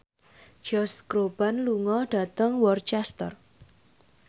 Josh Groban lunga dhateng Worcester